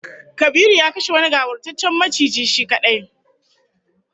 Kabiru ya kashe wani gawurtaccen maciji shi kadai